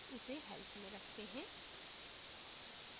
उसे help में रखते हैं